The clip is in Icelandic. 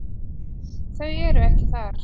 Þau eru ekki þar.